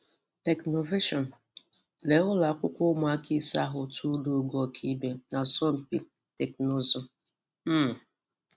Technovation: Lee ụlọakwụkwọ ụmụ̀aka ụmụ̀aka ísè ahụ turùla ùgọ́ ọkàíbè n’asọ́mpi technụzụ. um